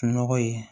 Nɔgɔ ye